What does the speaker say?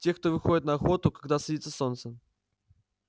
те кто выходит на охоту когда садится солнце